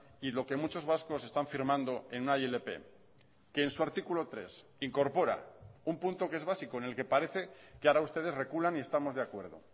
y lo que muchos vascos están firmando en una ilp que en su artículo tres incorpora un punto que es básico en el que parece que ahora ustedes reculan y estamos de acuerdo